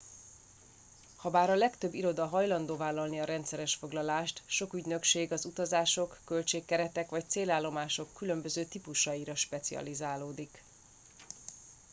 habár a legtöbb iroda hajlandó vállalni a rendszeres foglalást sok ügynökség az utazások költség keretek vagy célállomások különböző típusaira specializálódik